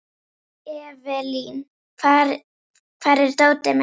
Evelyn, hvar er dótið mitt?